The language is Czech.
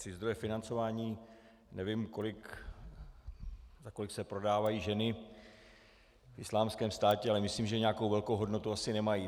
Tři zdroje financování - nevím, za kolik se prodávají ženy v Islámském státě, ale myslím, že nějakou velkou hodnotu asi nemají.